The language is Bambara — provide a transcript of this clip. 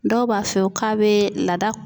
Dɔw b'a f'i ye k'a be laada